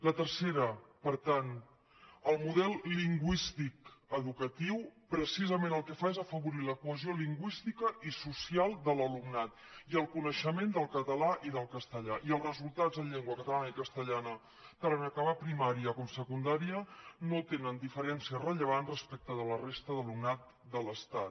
la tercera per tant el model lingüístic educatiu precisament el que fa és afavorir la cohesió lingüística i social de l’alumnat i el coneixement del català i del castellà i els resultats en llengua catalana i castellana tant en acabar primària com secundària no tenen diferències rellevants respecte de la resta d’alumnat de l’estat